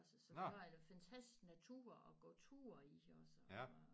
Også så vi har en fantastisk natur at gå tur i også